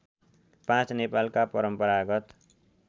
५ नेपालका परम्परागत